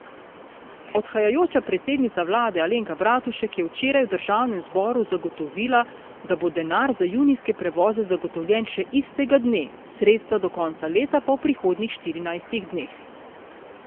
Odhajajoča predsednica vlade Alenka Bratušek je včeraj v državnem zboru zagotovila, da bo denar za junijske prevoze zagotovljen še istega dne, sredstva do konca leta pa v prihodnjih štirinajstih dneh.